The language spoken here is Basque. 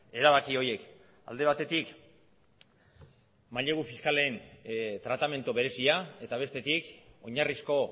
erabaki horiek alde batetik mailegu fiskalen tratamendu berezia eta bestetik oinarrizko